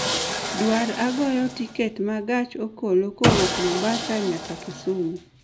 Dwar agoyo tiket ma gach okolokowuok mombasa nyaka kisumu